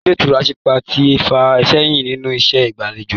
Ilé ìtura sípà ti fà sẹ́yìn nínú iṣẹ́ ìgbà'lejò